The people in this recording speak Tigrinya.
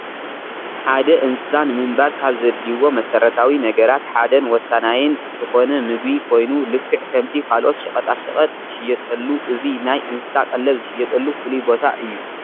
ሓደ እንስሳ ንምንባር ካብ ዘድልይዎ መሰረታዊ ነገራት ሓደ ን ወሳናይን ዝኾነ ምግቢ ኮይኑ ልክዕ ከምቲ ካልኦት ሸቐጣ ሸቐጥ ዝሽየጠሉ እዚ ናይ እንስሳ ቀለብ ዝሽየጠሉ ፍሉይ ቦታ እዩ።